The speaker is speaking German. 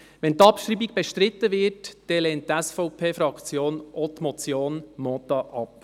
Wenn die Abschreibung bestritten wird, lehnt die SVP-Fraktion auch die Motion Mentha ab.